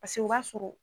Paseke o b'a sɔrɔ